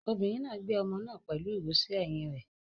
Obìnrin náà gbé ọmọ náà pẹ̀lú ìró sí ẹ̀yìn rẹ̀.